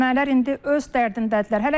Ermənilər indi öz dərdindədirlər.